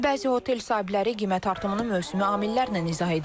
Bəzi otel sahibləri qiymət artımını mövsümi amillərlə izah edirlər.